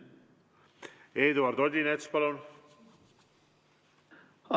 Eduard Odinets, palun!